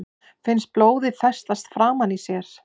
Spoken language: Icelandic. Finnst blóðið festast framan í sér.